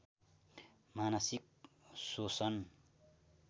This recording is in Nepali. मानसिक सोसन